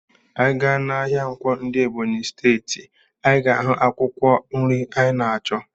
Ị gaa n'ahịa Nkwo dị n'Ebọnyị steeti, ị ga-ahụ akwụkwọ nri ị na-achọ.